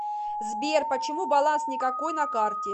сбер почему баланс никакой на карте